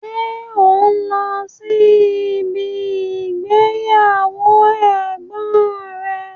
Ṣé o n lọ́ sí ibi ìgbéyàwó ẹ̀gbọ́n rẹ?